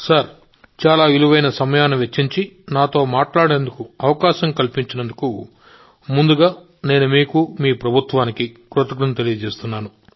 మోదీ గారూ చాలా విలువైన సమయాన్ని వెచ్చించి నాతో మాట్లాడేందుకు అవకాశం కల్పించినందుకు ముందుగా నేను మీకు ప్రభుత్వానికి నా కృతజ్ఞతలు తెలియజేస్తున్నాను